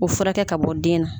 O furakɛ ka bɔ den na